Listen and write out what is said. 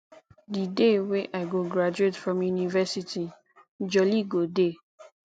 di day wey i go graduate from university jolly go dey